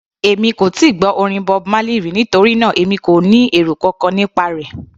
Èmi kò tíì gbọ́ orin Bob Marley rí, nítorí náà èmi kò ní èrò kankan nípa rẹ̀.